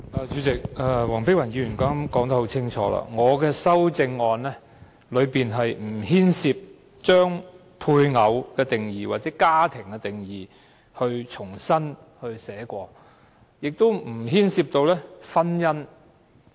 主席，黃碧雲議員剛才說得很清楚，我的修正案不牽涉重新撰寫"配偶"或"家庭"的定義，亦不牽涉婚姻。